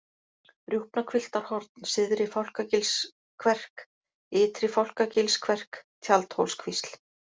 Rjúpnahvilftarhorn, Syðri-Fálkagilskverk, Ytri-Fálkagilskverk, Tjaldhólskvísl